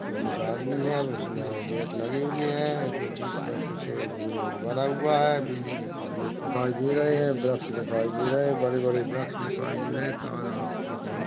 उसमे कुछ आदमी है उसमें गेट लगी हुइ हैं इसमें बीच में कुछ गोल गोल बना हुआ है बिजली के खंभे दिखाई दे रहे हैं वृक्ष दिखाई दे रहे है बड़े बड़े वृक्ष दिखाई दे रहे हैं तार आपका कान --